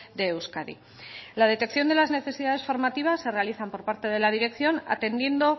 de euskadi la detección de las necesidades formativas se realizan por parte de la dirección atendiendo